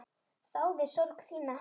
Þáði sorg þína.